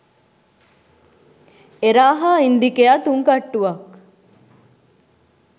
එරා හා ඉන්දිකයා තුන් කට්ටුවත්